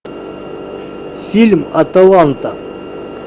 фильм аталанта